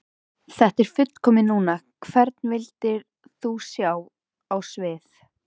Þetta er fullkomið núna Hvern vildir þú sjá á sviði?